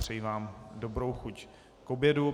Přeji vám dobrou chuť k obědu.